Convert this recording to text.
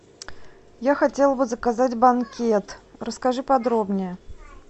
я хотела бы заказать банкет расскажи подробнее